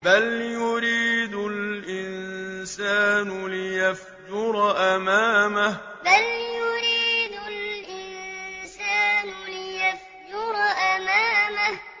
بَلْ يُرِيدُ الْإِنسَانُ لِيَفْجُرَ أَمَامَهُ بَلْ يُرِيدُ الْإِنسَانُ لِيَفْجُرَ أَمَامَهُ